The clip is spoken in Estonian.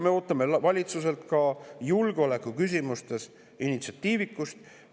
Me ootame valitsuselt ka julgeolekuküsimustes initsiatiivikust.